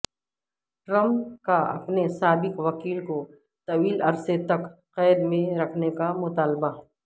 Trump کا اپنے سا بق وکیل کوطویل عرصہ تک قید میں رکھنے کا مطالبہ